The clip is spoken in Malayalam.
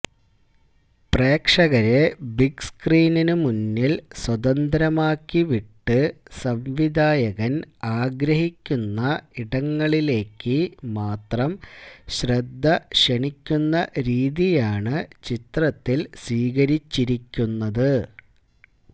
പ്രേക്ഷകരെ ബിഗ് സ്ക്രീനിനു മുന്നിൽ സ്വതന്ത്രമാക്കി വിട്ട് സംവിധായകൻ ആഗ്രഹിക്കുന്ന ഇടങ്ങളിലേക്ക് മാത്രം ശ്രദ്ധക്ഷണിക്കുന്ന രീതിയാണ് ചിത്രത്തിൽ സ്വീകരിച്ചിരിക്കുന്നത്